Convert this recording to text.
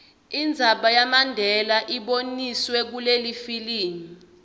indzaba yamandela iboniswe kulelifilimu